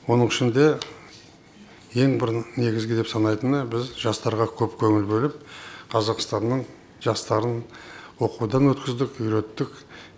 оның ішінде ең бір негізгі деп санайтыны біз жастарға көп көңіл бөліп қазақстанның жастарын оқудан өткіздік үйреттік